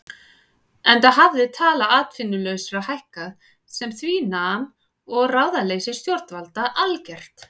Enda hafði tala atvinnulausra hækkað sem því nam og ráðaleysi stjórnvalda algert.